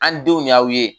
An denw y'aw ye